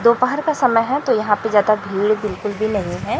दोपहर का समय है तो यहां पे ज्यादा भीड़ बिल्कुल भी नहीं है।